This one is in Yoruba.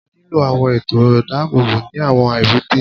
A nílò àwọn ètò ààbò ní àwọn èbúté.